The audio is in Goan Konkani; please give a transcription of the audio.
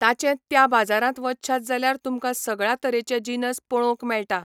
ताचें त्या बाजारांत वचशात जाल्यार तुमकां सगळ्या तरेचे जिनस पळोवंक मेळटा.